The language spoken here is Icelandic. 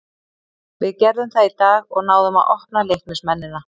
Við gerðum það í dag og náðum að opna Leiknismennina.